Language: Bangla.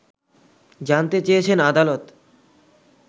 জানতে চেয়েছেন আদালত